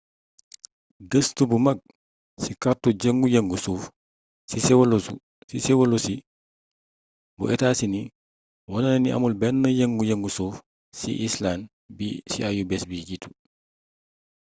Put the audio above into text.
gëstu bu mag ci kartu yëngu-yëngu suuf ci sewolosi bu etaa sini wone na ni amul benn yëngu-yëngu suuf ci icelànd ci ayu-bis bi jiitu